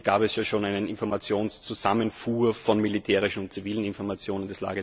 Hier gab es ja schon eine Informationszusammenfuhr von militärischen und zivilen Informationen.